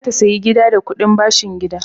Ummi za ta sayi gida da kuɗin bashin gida.